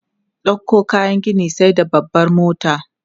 Ɗauko kayan gini sai da babbar mota.